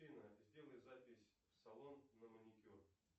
афина сделай запись в салон на маникюр